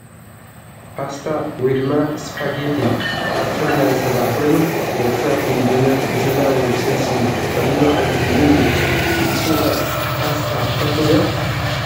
ፓስታ/ስፓጌቲ/ ካብ ስርናይ ዝስራሕ ኮይኑ ደቂ ሰባት ንምግብነት ብስጋ ወይ ብስልሲ ዝጥቀምሉ ዓይነት ምግቢ እዩ። ንስኩም ከ ፓስታ ትፈትው ዶ ?